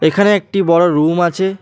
এখানে একটি বড় রুম আছে।